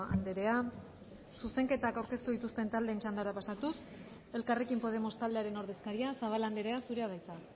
andrea zuzenketak aurkeztu dituzten taldeen txandara pasatuz elkarrekin podemos taldearen ordezkaria zabala andrea zurea da hitza